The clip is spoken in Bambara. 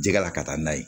Jɛgɛ la ka taa n'a ye